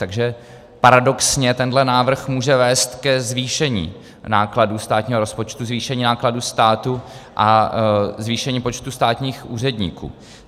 Takže paradoxně tenhle návrh může vést k zvýšení nákladů státního rozpočtu, zvýšení nákladů státu a zvýšení počtu státních úředníků.